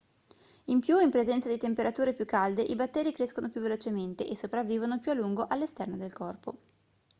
in più in presenza di temperature più calde i batteri crescono più velocemente e sopravvivono più a lungo all'esterno del corpo